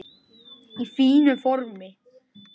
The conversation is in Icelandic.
Í fínu formi.